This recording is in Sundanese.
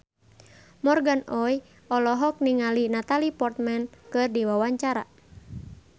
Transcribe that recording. Morgan Oey olohok ningali Natalie Portman keur diwawancara